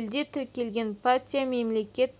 елде тіркелген партия мемлекет